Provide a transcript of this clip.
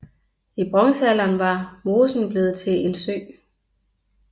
I bronzealderen var mosen blevet til en sø